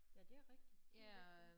Ja det er rigtigt de væk nu